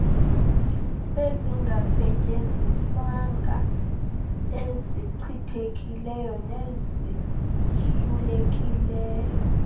ezingasetyenziswanga ezichithekileyo nezisulelekileyo